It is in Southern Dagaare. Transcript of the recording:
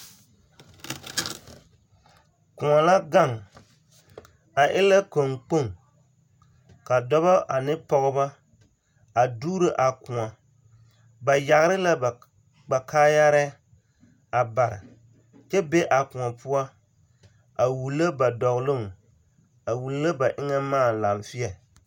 Kõɔ la gaŋ, a e la kɔŋkpoŋ, ka dɔbɔ ane pɔgebɔ a dugiro a kõɔ. Ba yageere la ba kaayarɛɛ a bare kyɛ be a kõɔ poɔ a wulo ba dɔɔloŋ, a wulo ba eŋɛ maa laaŋfeɛ.